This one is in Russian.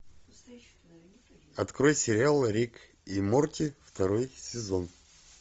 открой сериал рик и морти второй сезон